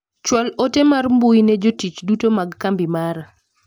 Chwal ote mar mbui ne jotich duto mag kambi mara.